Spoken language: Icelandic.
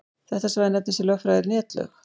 Þetta svæði nefnist í lögfræði netlög.